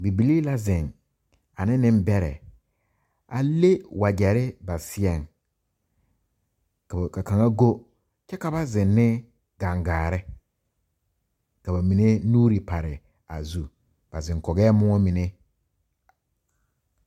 Bibilii la zeŋ ane nembɛrɛ a le wagyɛre ba seɛŋ ka ba ka kaŋa go kyɛ ka ba zeŋ ne gangaare ka ba mine nuuri pare a zu ba zeŋ kɔgɛɛ moɔ mine.